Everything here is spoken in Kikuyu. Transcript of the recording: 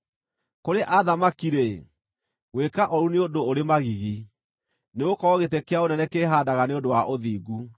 Kũrĩ athamaki-rĩ, gwĩka ũũru nĩ ũndũ ũrĩ magigi, nĩgũkorwo gĩtĩ kĩa ũnene kĩĩhaandaga nĩ ũndũ wa ũthingu.